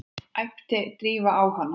æpti Drífa á hana.